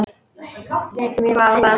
Hvað var það?